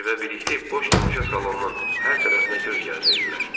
Kiber və Birlik boş tamaşa salonunun hər tərəfinə göz gəzdirdilər.